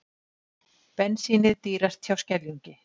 Bensínið dýrast hjá Skeljungi